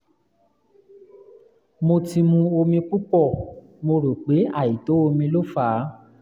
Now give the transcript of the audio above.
mo ti mu omi púpọ̀ mo rò pé àìtó omi ló fà á